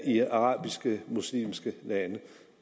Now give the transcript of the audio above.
i arabiske og muslimske lande